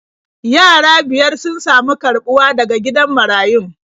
Yara biyar sun sami karɓuwa daga gidan marayun.